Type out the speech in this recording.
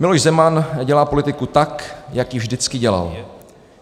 Miloš Zeman dělá politiku tak, jak ji vždycky dělal.